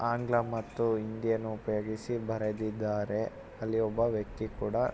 ಆಂಗ್ಲ ಮತ್ತು ಹಿಂದಿಯನ್ನು ಉಪಯೋಗಿಸಿ ಬರೆದಿದ್ದಾರೆ. ಅಲ್ಲಿ ಒಬ್ಬ ವ್ಯಕ್ತಿ ಕೂಡ--